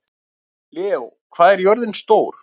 Leó, hvað er jörðin stór?